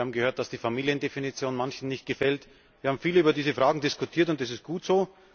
Wir haben gehört, dass die Familiendefinition manchen nicht gefällt. Wir haben viel über diese Fragen diskutiert und das ist gut so.